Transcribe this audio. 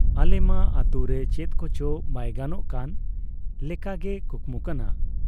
ᱟᱞᱮ ᱢᱟ ᱟᱹᱛᱩ ᱨᱮ ᱪᱮᱫ ᱠᱚᱪᱚ ᱵᱟᱭ ᱜᱟᱱᱚᱜ ᱠᱟᱱ ᱞᱮᱠᱟᱜᱮ ᱠᱩᱠᱢᱩ ᱠᱟᱱᱟ ᱾